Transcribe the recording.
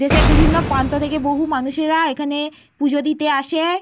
দেশের বিভিন্ন প্রান্ত থেকে বহু মানুষেরা এখানে পুজো দিতে আসে।